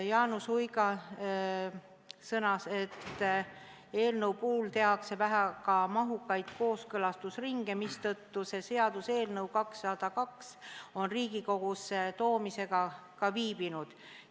Jaanus Uiga sõnas, et eelnõu puhul tehakse väga mahukaid kooskõlastusringe, mistõttu selle seaduseelnõu 202 Riigikogusse toomine on ka viibinud.